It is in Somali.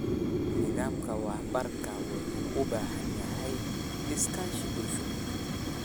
Nidaamka waraabka wuxuu u baahan yahay iskaashi bulsho.